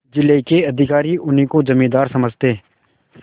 जिले के अधिकारी उन्हीं को जमींदार समझते